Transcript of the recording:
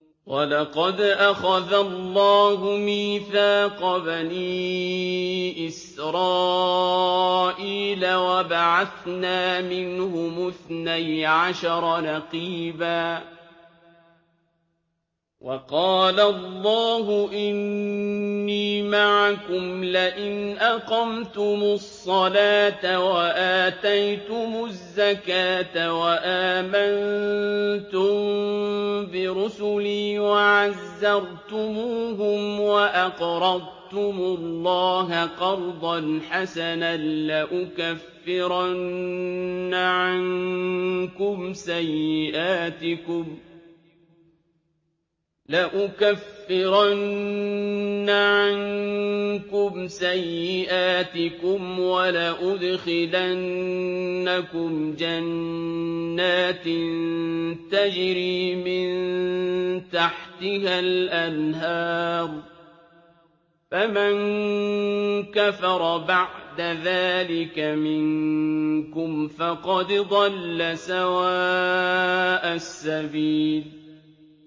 ۞ وَلَقَدْ أَخَذَ اللَّهُ مِيثَاقَ بَنِي إِسْرَائِيلَ وَبَعَثْنَا مِنْهُمُ اثْنَيْ عَشَرَ نَقِيبًا ۖ وَقَالَ اللَّهُ إِنِّي مَعَكُمْ ۖ لَئِنْ أَقَمْتُمُ الصَّلَاةَ وَآتَيْتُمُ الزَّكَاةَ وَآمَنتُم بِرُسُلِي وَعَزَّرْتُمُوهُمْ وَأَقْرَضْتُمُ اللَّهَ قَرْضًا حَسَنًا لَّأُكَفِّرَنَّ عَنكُمْ سَيِّئَاتِكُمْ وَلَأُدْخِلَنَّكُمْ جَنَّاتٍ تَجْرِي مِن تَحْتِهَا الْأَنْهَارُ ۚ فَمَن كَفَرَ بَعْدَ ذَٰلِكَ مِنكُمْ فَقَدْ ضَلَّ سَوَاءَ السَّبِيلِ